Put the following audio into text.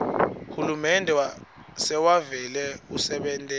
hulumende sewuvele usebentela